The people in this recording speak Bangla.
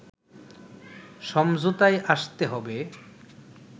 সমঝোতায় আসতে হবে